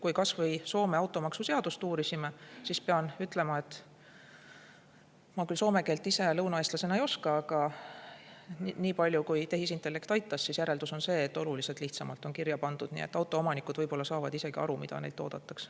Kui me kas või Soome automaksuseadust uurisime, siis pean ütlema, et ma küll soome keelt ise lõunaeestlasena ei oska, aga niipalju kui tehisintellekt aitas, järeldus on see, et oluliselt lihtsamalt on kirja pandud, nii et autoomanikud saavad isegi aru, mida neilt oodatakse.